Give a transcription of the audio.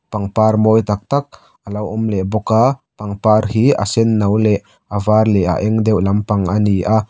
pangpar mawi tak tak alo awm leh bawk a pangpar hi a sen no leh a var leh a eng deuh lampang a ni a.